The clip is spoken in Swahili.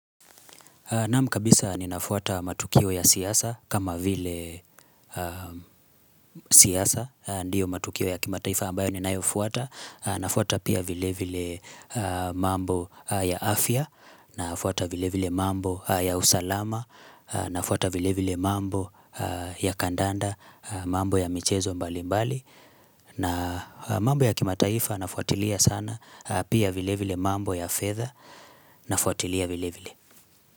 Naam kabisa ninafuata matukio ya siasa kama vile siasa. Ndio matukio ya kimataifa ambayo ninayofwata. Nafuata pia vile vile mambo ya afya. Nafuata vile vile mambo ya usalama. Nafuata vile vile mambo ya kandanda. Mambo ya michezo mbali mbali. Na mambo ya kimataifa nafuatilia sana. Pia vile vile mambo ya fedha Nafuatilia vile vile.